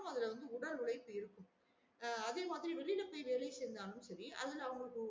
எல்லா வந்து அதுல உடல் உழைப்பு இருக்கும் அஹ் அதே மாறி வெளியில போயி வேலை செஞ்சாலும் செரி அதுல அவங்களுக்கு